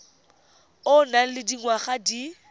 o nang le dingwaga di